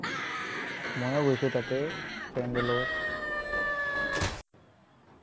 ময়ো গৈছো তাতে friend ৰ লগত।